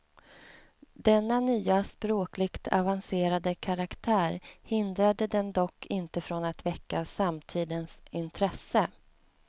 Denna nya, språkligt avancerade karaktär hindrade den dock inte från att väcka samtidens intresse.